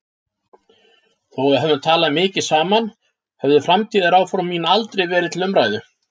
Þó að við hefðum talað mikið saman höfðu framtíðaráform mín aldrei verið til umræðu.